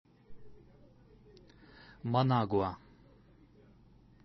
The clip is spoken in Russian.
манагуа